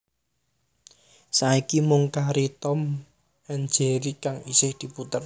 Saiki mung kari Tom and Jerry kang isih diputer